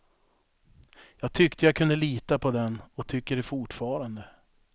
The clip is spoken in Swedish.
Jag tyckte jag kunde lita på den och tycker det fortfarande.